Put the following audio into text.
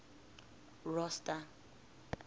rosta